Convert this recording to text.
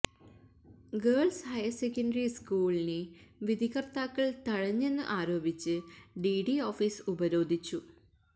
girls higher secondary സ്കൂളിനെ വിധികര്ത്താക്കള് തഴഞ്ഞെന്ന് ആരോപിച്ച് ഡിഡി ഓഫീസ് ഉപരോധിച്ചു